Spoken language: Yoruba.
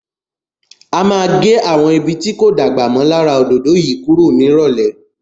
A má a gẹ́ àwọn ibi tí kò dàgbà mọ́ lára òdòdó yìí kúrò ní ìrọ̀lẹ́.